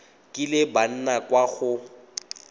kileng ba nna kwa go